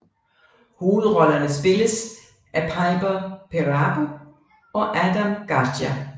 Hovedrollerne spilles af Piper Perabo og Adam Garcia